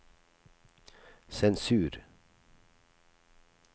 sensur